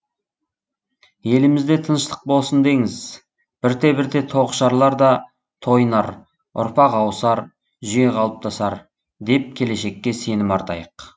елімізде тыныштық болсын деңіз бірте бірте тоғышарлар да тойынар ұрпақ ауысар жүйе қалыптасар деп келешекке сенім артайық